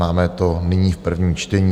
Máme to nyní v prvním čtení.